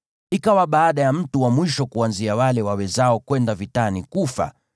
Ikawa baada ya mtu wa mwisho kuanzia wale wawezao kwenda vitani kufa,